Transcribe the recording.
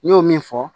N y'o min fɔ